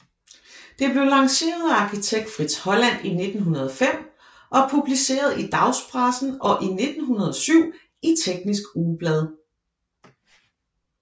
Det blev lanceret af arkitekt Fritz Holland i 1905 og publiceret i dagspressen og i 1907 i Teknisk Ugeblad